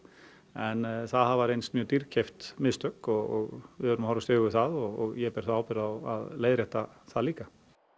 en það hafa reynst mjög dýrkeypt mistök og við verðum að horfast í augu við það og ég ber þá ábyrgð á að leiðrétta það líka